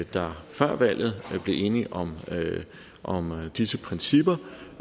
der før valget blev enige om om disse principper